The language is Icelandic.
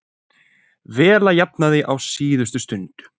Vela jafnaði á síðustu stundu